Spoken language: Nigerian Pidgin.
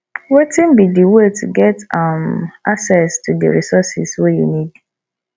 wetin be di way to get um access to di resources wey you need